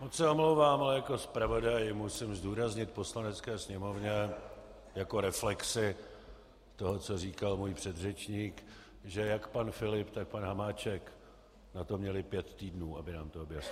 Moc se omlouvám, ale jako zpravodaj musím zdůraznit Poslanecké sněmovně jako reflexi toho, co říkal můj předřečník, že jak pan Filip, tak pan Hamáček na to měli pět týdnů, aby nám to objasnili.